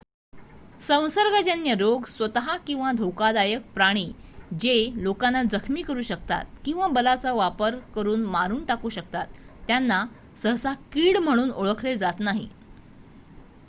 संसर्गजन्य रोग स्वत किंवा धोकादायक प्राणी जे लोकांना जखमी करू शकतात किंवा बलाचा वापर करून मारून टाकू शकतात त्यांना सहसा कीड म्हणून ओळखले जात नाही